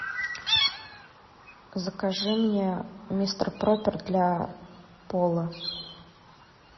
закажи мне мистер пропер для пола